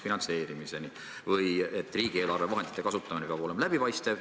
Või see, et riigieelarve vahendite kasutamine peab olema läbipaistev.